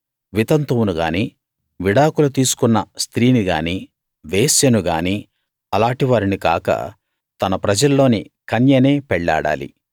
వితంతువును గానీ విడాకులు తీసుకున్న స్త్రీని గానీ వేశ్యను గానీ అలాటి వారిని కాక తన ప్రజల్లోని కన్యనే పెళ్లాడాలి